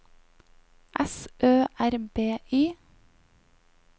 S Ø R B Y